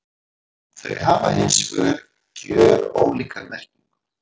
Þau hafa hins vegar gjörólíka merkingu.